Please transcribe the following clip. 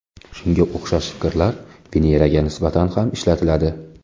Shunga o‘xshash fikrlar Veneraga nisbatan ham ishlatiladi.